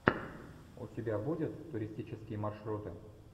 у тебя будет туристические маршруты